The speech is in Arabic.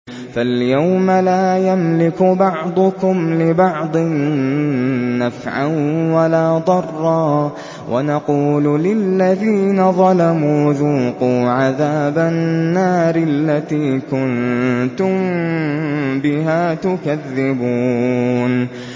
فَالْيَوْمَ لَا يَمْلِكُ بَعْضُكُمْ لِبَعْضٍ نَّفْعًا وَلَا ضَرًّا وَنَقُولُ لِلَّذِينَ ظَلَمُوا ذُوقُوا عَذَابَ النَّارِ الَّتِي كُنتُم بِهَا تُكَذِّبُونَ